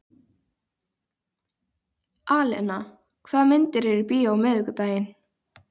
Alena, hvaða myndir eru í bíó á miðvikudaginn?